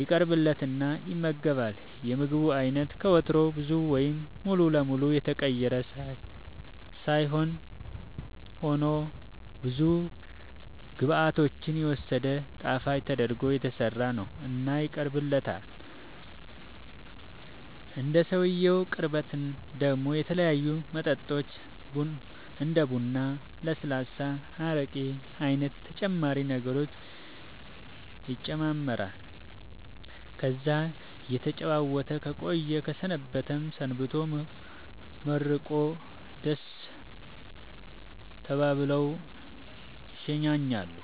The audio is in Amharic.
ይቀርብለትና ይመገባል የምግቡ አይነት ከወትሮው ብዙ ወይም ሙሉ ለመሉ የተቀየረ ሳይሆንያው ሆኖ ብዙ ግብዓቶችን የወሰደ ጣፈጥ ተደርጎ የተሠራ ነው እና ይቀርብለታል እንደ ሰውየው ቅርበት ደሞ የተለያዩ መጠጦች እንደ ቡራ ለስላሳ አረቄ አይነት ተጨማሪ ነገሮችም ይጨማመራሉ ከዛ እየተጨዋወተ ከቆየ ከሰነበተም ሰንብቶ መርቆ ደሥ ተባብለው ይሸኛኛሉ